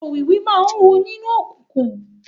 Òwìwí máa ń hu nínú òkùnkùn.